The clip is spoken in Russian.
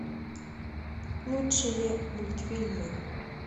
лучшие мультфильмы